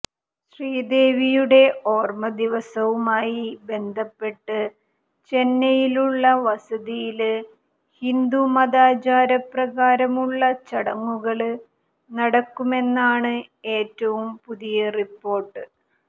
ശ്രീദേവിയുടെ ഓര്മ്മ ദിവസവുമായി ബന്ധപ്പെട്ട് ചെന്നൈയിലുള്ള വസതിയില് ഹിന്ദു മതാചാര പ്രകാരമുള്ള ചടങ്ങുകള് നടക്കുമെന്നാണ് ഏറ്റവും പുതിയ റിപ്പോര്ട്ട്